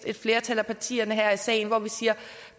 et flertal af partierne her i salen hvor vi siger